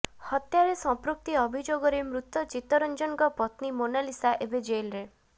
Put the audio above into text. ହତ୍ୟାରେ ସମ୍ପୃକ୍ତି ଅଭିଯୋଗରେ ମୃତ ଚିତ ରଂଜନଙ୍କ ପତ୍ନୀ ମୋନାଲିସା ଏବେ ଜେଲ୍ ରେ